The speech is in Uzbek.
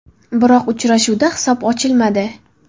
Biroq uchrashuvda hisob ochilmadi.